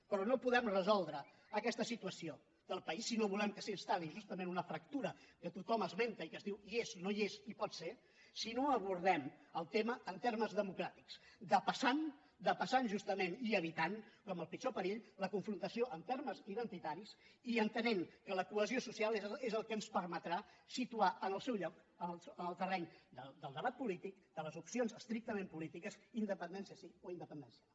però no podrem resoldre aquesta situació del país si no volem que s’instal·li justament una fractura que tothom esmenta i que es diu hi és no hi és i pot ser si no abordem el tema en termes democràtics depassant depassant justament i evitant com el pitjor perill la confrontació en termes identitaris i entenent que la cohesió social és el que ens permetrà situar en el seu lloc en el terreny del debat polític de les opcions estrictament polítiques independència sí o independència no